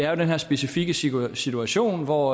er den her specifikke situation situation hvor